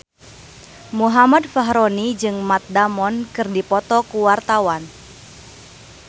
Muhammad Fachroni jeung Matt Damon keur dipoto ku wartawan